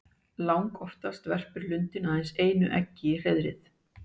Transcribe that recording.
Langoftast verpir lundinn aðeins einu eggi í hreiðrið.